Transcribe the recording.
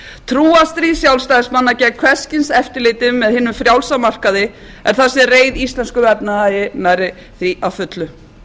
valhallarbóndans trúarstríð sjálfstæðismanna gegn hvers kyns eftirliti með hinum frjálsa markaði er það sem reið íslenskum efnahag nærri því að fullu